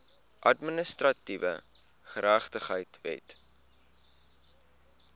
administratiewe geregtigheid wet